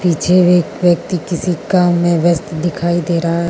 पीछे एक व्यक्ति किसी काम में व्यस्त दिखाई दे रहा --